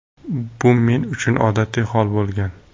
Bu men uchun odatiy hol bo‘lgan”.